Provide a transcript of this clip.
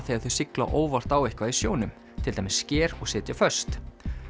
þegar þau sigla óvart á eitthvað í sjónum til dæmis sker og sitja föst